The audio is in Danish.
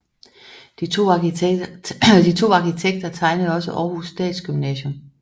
De to arkitekter tegnede også Århus Statsgymnasium